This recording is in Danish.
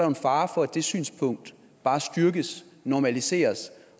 en fare for at det synspunkt bare styrkes normaliseres